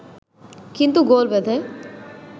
কিন্তু গোল বাধে